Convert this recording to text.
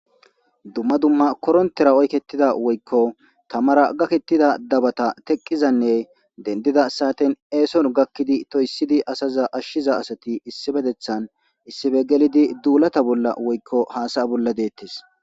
Dumma dumma koronttera oyketida woykon tammara gakettida dabata teqeza nne dendida satten esson gakidi ashiza asati issupetethan issippe gellidi dulata bolla dettes